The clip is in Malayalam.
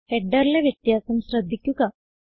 ഹെഡറിലെ വ്യത്യാസം ശ്രദ്ധിക്കുക